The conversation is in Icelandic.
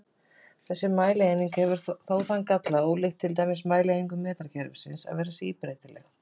Þessi mælieining hefur þó þann galla, ólíkt til dæmis mælieiningum metrakerfisins, að vera síbreytileg.